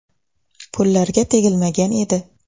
Pullarga tegilmagan edi.